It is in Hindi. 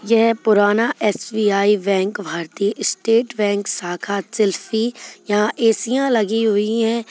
यह पुराना एस_बी_आई बैंक भारतीय स्टेट बैंक शाखा चेसी यहां एसियां लगी हुई है।